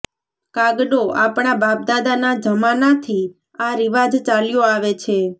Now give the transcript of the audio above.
કાગડોઃ આપણા બાપદાદાના જમાનાથી આ રિવાજ ચાલ્યો આવે છે